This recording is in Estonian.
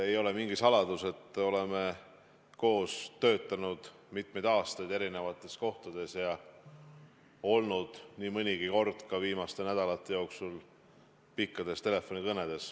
Ei ole mingi saladus, et oleme koos töötanud mitmeid aastaid eri kohtades ja pidanud nii mõnigi kord ka viimaste nädalate jooksul pikki telefonikõnesid.